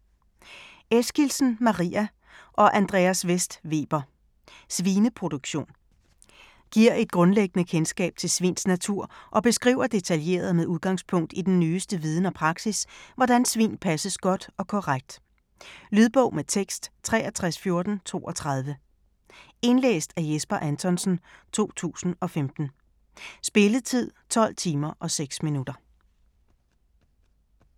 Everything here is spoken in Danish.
Eskildsen, Maria og Andreas Vest Weber: Svineproduktion Giver et grundlæggende kendskab til svins natur og beskriver detaljeret med udgangspunkt i den nyeste viden og praksis, hvordan svin passes godt og korrekt. Lydbog med tekst 631432 Indlæst af Jesper Anthonsen, 2015. Spilletid: 12 timer, 6 minutter.